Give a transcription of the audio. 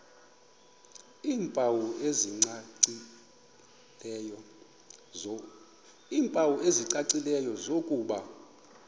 iimpawu ezicacileyo zokuba